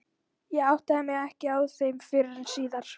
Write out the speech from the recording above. Ég áttaði mig ekki á þeim fyrr en síðar.